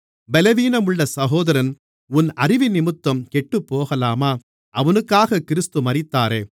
பலவீனமுள்ள சகோதரன் உன் அறிவினிமித்தம் கெட்டுப்போகலாமா அவனுக்காகக் கிறிஸ்து மரித்தாரே